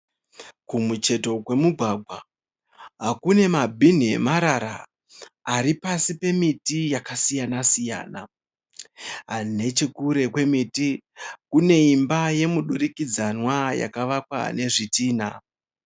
Kumucheto kwemugwagwa kune mabhinhi emarara ari pasi pemiti yakasiyana siyana. Nechekure kwemiti kune imba yomudurikidzanwa yakavakwa nezvitinha.